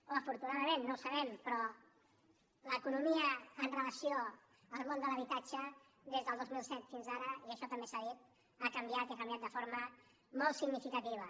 o afortunadament no ho sabem però l’economia amb relació al món de l’habitatge des del dos mil set fins ara i això també s’ha dit ha canviat i ha canviat de forma molt significativa